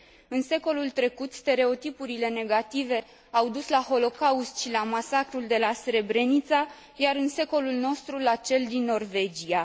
În secolul trecut, stereotipurile negative au dus la Holocaust și la masacrul de la Srebrenica, iar în secolul nostru la cel din Norvegia.